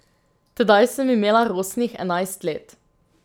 Tedaj sem imela rosnih enajst let.